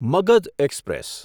Magadh express